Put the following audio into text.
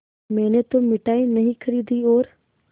मैंने तो मिठाई नहीं खरीदी और